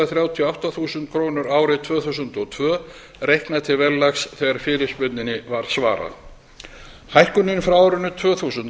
þrjátíu og átta þúsund krónur árið tvö þúsund og tvö reiknað til verðlags þegar fyrirspurninni var svarað hækkunin frá árinu tvö þúsund